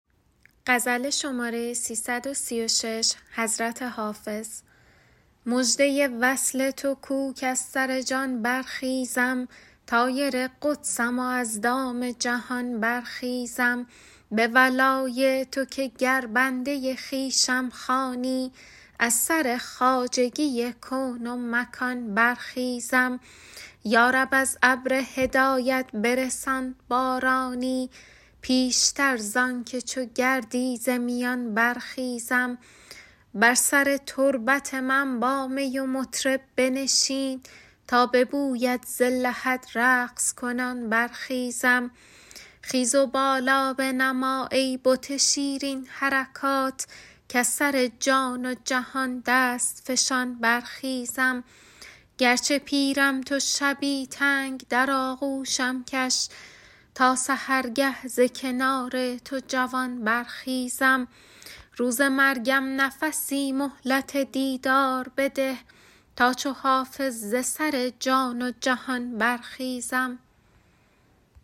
مژده وصل تو کو کز سر جان برخیزم طایر قدسم و از دام جهان برخیزم به ولای تو که گر بنده خویشم خوانی از سر خواجگی کون و مکان برخیزم یا رب از ابر هدایت برسان بارانی پیشتر زان که چو گردی ز میان برخیزم بر سر تربت من با می و مطرب بنشین تا به بویت ز لحد رقص کنان برخیزم خیز و بالا بنما ای بت شیرین حرکات کز سر جان و جهان دست فشان برخیزم گرچه پیرم تو شبی تنگ در آغوشم کش تا سحرگه ز کنار تو جوان برخیزم روز مرگم نفسی مهلت دیدار بده تا چو حافظ ز سر جان و جهان برخیزم